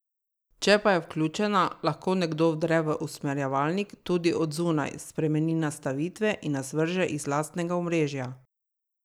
Če pa je vključena, lahko nekdo vdre v usmerjevalnik tudi od zunaj, spremeni nastavitve in nas vrže iz lastnega omrežja.